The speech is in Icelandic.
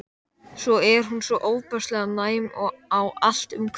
Svo er hún svo ofboðslega næm á allt umhverfið.